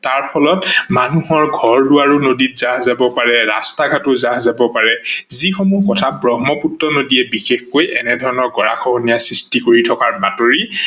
তাৰ ফলত মানুহৰ ঘৰ-দোৱাৰো নদীত জাহ যাৱ পাৰে, ৰাস্তা ঘাটো জাহ যাব পাৰে, যিসমূহ কথা ব্ৰহ্মপুত্ৰ নদীয়ে বিশেষকৈ এনেধৰনৰ গঢ়া খহনীয়া সৃষ্টি কৰি থকাৰ বাতৰি